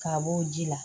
K'a b'o ji la